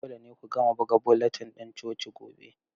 Dole ne ku gama buga bulletin ɗin coci gobe.